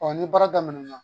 ni baara daminɛna